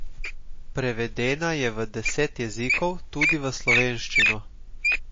Prevedena je v deset jezikov, tudi v slovenščino.